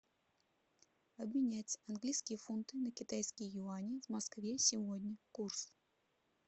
обменять английские фунты на китайские юани в москве сегодня курс